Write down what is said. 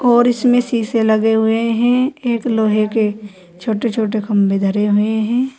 और इसमें शीशे लगे हुए हैं एक लोहे के छोटे छोटे खंभे धरे हुए हैं।